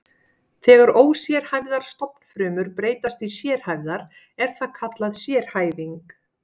Þegar ósérhæfðar stofnfrumur breytast í sérhæfðar er það kallað sérhæfing.